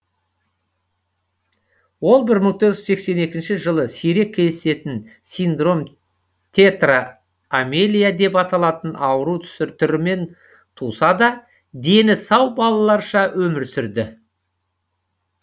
ол бір мың тоғыз жүз сексен екінші жылы сирек кездесетін синдром тетра амелия деп аталатын ауру түрімен туса да дені сау балаларша өмір сүрді